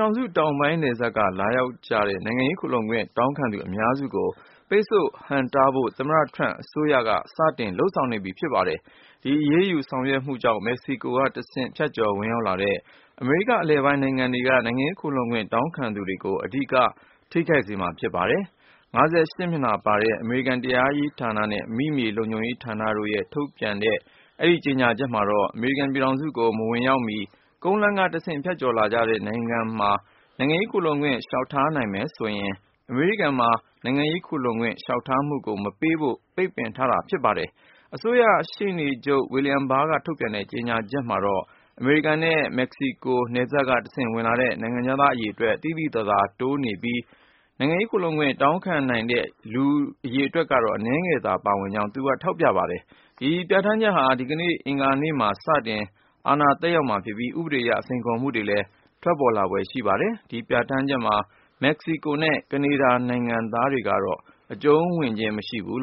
ောင်စု တောင်ပိုင်းနယ်စပ်က လာရောက်တဲ့ နိုင်ငံရေးခိုလှုံခွင့် တောင်းခံသူ အများစုကို ပိတ်ဆို့ဟန့်တားဖို့ သမ္မတထရမ့် အစိုးရ စတင်လုပ်ဆောင်နေပြီ ဖြစ်ပါတယ်။ ဒီအရေးယူ ဆောင်ရွက်မှုကြောင့် မက္ကဆီကိုကတဆင့် ဖြတ်ကျော်ဝင်ရောက်လာတဲ့ အမေရိက အလယ်ပိုင်း နိုင်ငံတွေက နိုင်ငံရေးခိုလှုံခွင့် တောင်းခံသူတွေကို အဓိက ထိခိုက်စေမှာ ဖြစ်ပါတယ်။ စာမျက်နှာ(၅၈)မျက်နှာပါတဲ့ အမေရိကန် တရားရေးဌာနနဲ့ အမိမြေ လုံခြုံရေး ဌာနတို့က ထုတ်ပြန်တဲ့ တနင်္လာနေ့က ကြေညာချက်မှာတော့ အမေရိကန်ပြည်ထောင်စုကို မဝင်ရောက်မီ ကုန်းလမ်းကတဆင့် ဖြတ်ကျော်လာတဲ့နိုင်ငံမှာ နိုင်ငံရေးခိုလှုံခွင့် လျှောက်ထားနိုင်မယ်ဆိုရင် အမေရိကန်မှာ နိုင်ငံရေးခိုလှုံခွင့် လျှောက်ထားမှုကို မပေးဖို့ ပိတ်ပင်ထားတာ ဖြစ်ပါတယ်။ အစိုးရ ရှေ့နေချုပ် William Barr ကထုတ်ပြန်တဲ့ ကြေညာချက်မှာ အမေရိကန်နဲ့ မက္ကဆီကို နယ်စပ်ကတဆင့် နိုင်ငံခြားသားအရေတွက် သိသိသာသာ တိုးလာပြီး၊ နိုင်ငံရေးခိုလှုံခွင့် တောင်းခံနိုင်တဲ့ လူအရေတွက်က အနည်းငယ်သာ ပါဝင်ကြောင်း သူက ထောက်ပြခဲ့ပါတယ်။ ဒီပြဌာန်းချက်ဟာ ဒီကနေ့ အင်္ဂါနေ့မှာ စတင် အာဏာသက်ရောက်မှာ ဖြစ်ပြီး ၊ ဥပဒေအရ စိန်ခေါ်မှုတွေလည်း ထွက်ပေါ်လာဖွယ်ရှိပါတယ်။ ဒီပြဌာန်းချက်မှာ မက္ကဆီကိုနဲ့ ကနေဒါနိုင်ငံသားတွေကတော့ အကျုံးဝင်ခြင်း မရှိပါဘူး